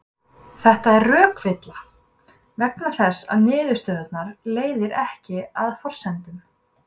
Þetta er rökvilla vegna þess að niðurstöðuna leiðir ekki af forsendunum.